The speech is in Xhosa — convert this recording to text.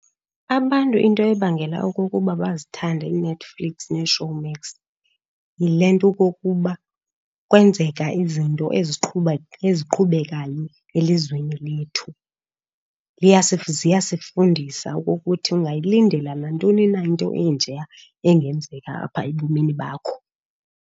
Abantu into ebangela okokuba bazithande iiNetflix neeShowmax yile nto okokuba kwenzeka izinto eziqhubekayo elizweni lethu. Ziyasifundisa okokuthi ungayilindela nantoni na into enjeya engenzeka apha ebomini bakho.